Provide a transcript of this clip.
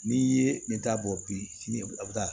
N'i ye ne ta bɔ bilen a bɛ taa